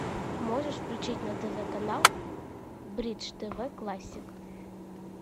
можешь включить на тв канал бридж тв классик